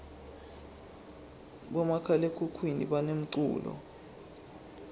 bomakhalakhukhuni banemculo